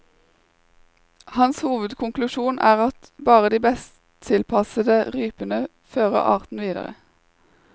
Hans hovedkonklusjon er at bare de best tilpassede rypene fører arten videre.